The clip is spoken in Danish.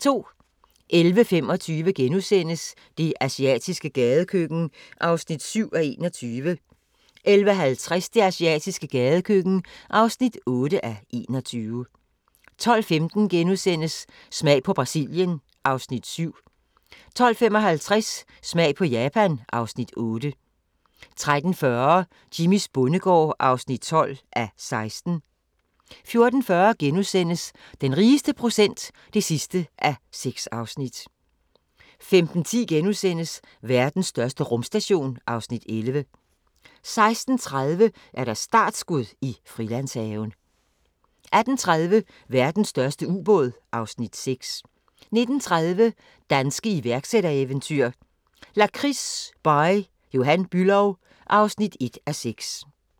11:25: Det asiatiske gadekøkken (7:21)* 11:50: Det asiatiske gadekøkken (8:21) 12:15: Smag på Brasilien (Afs. 7)* 12:55: Smag på Japan (Afs. 8) 13:40: Jimmys bondegård (12:16) 14:40: Den rigeste procent (6:6)* 15:10: Verdens største rumstation (Afs. 11)* 16:30: Startskud i Frilandshaven 18:30: Verdens største ubåd (Afs. 6) 19:30: Danske iværksættereventyr – Lakrids By Johan Bülow (1:6)